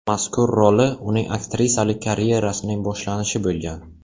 Mazkur roli uning aktrisalik karyerasining boshlanishi bo‘lgan.